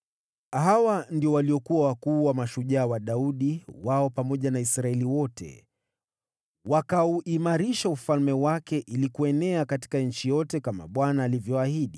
Hawa ndio waliokuwa wakuu wa mashujaa wa Daudi: wao pamoja na Israeli wote wakauimarisha ufalme wake ili kuenea katika nchi yote, kama Bwana alivyoahidi.